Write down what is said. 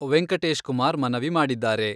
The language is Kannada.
ವೆಂಕಟೇಶ್ ಕುಮಾರ್ ಮನವಿ ಮಾಡಿದ್ದಾರೆ.